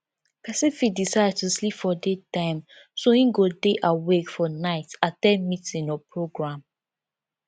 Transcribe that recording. persin fit decide to sleep for day time so im go de awake for night at ten d meeting or programme